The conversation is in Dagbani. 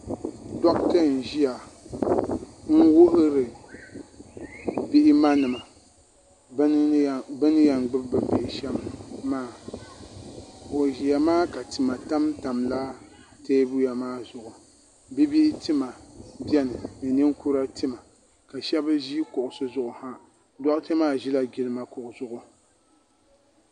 doɣitɛ n ʒɛya n wuhiri bia manima be ni yan gbabi be nihi shɛm maa o ʒɛ maa ka tima tamitaila tɛbuli maa zuɣ be nihi tima bɛni n nikuri tima ma shɛbi ʒɛ kuɣisi zuɣiha doɣitɛ maa ʒɛla jilima kuɣ' zuɣ